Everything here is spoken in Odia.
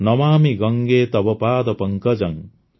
ନମାମି ଗଙ୍ଗେ ତବ ପାଦ ପଙ୍କଜଂ